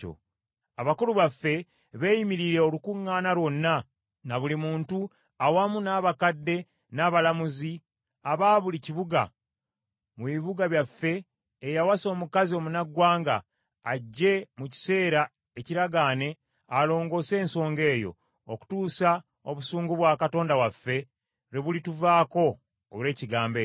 Abakulu baffe beeyimirire olukuŋŋaana lwonna, na buli muntu awamu n’abakadde n’abalamuzi aba buli kibuga mu bibuga byaffe eyawasa omukazi omunnaggwanga, ajje mu kiseera ekiragaane alongoose ensonga eyo, okutuusa obusungu bwa Katonda waffe lwe bulituvaako olw’ekigambo ekyo.”